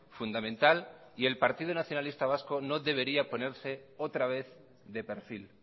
fundamental y el partido nacionalista vasco no debería ponerse otra vez de perfil